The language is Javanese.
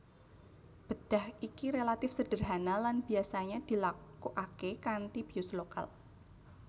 Bedah iki relatif sederhana lan biasanya dilakukaké kanti bius lokal